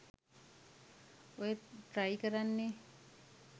ඔය ට්‍රයි කරන්නෙ